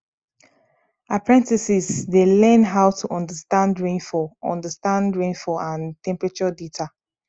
apprentices dey learn how to understand rainfall understand rainfall and temperature data